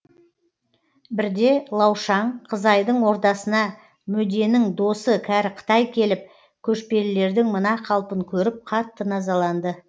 бірде лаушаң қызайдың ордасына мөденің досы кәрі қытай келіп көшпелілердің мына қалпын көріп қатты назаланды